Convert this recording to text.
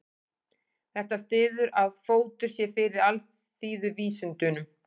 Þetta styður að fótur sé fyrir alþýðuvísindunum.